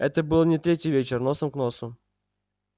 это был не третий вечер носом к носу